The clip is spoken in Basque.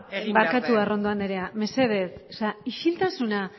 egin behar den barkatu arrondo andrea mesedez isiltasuna